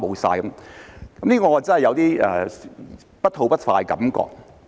"對此，我真的有點不吐不快的感覺。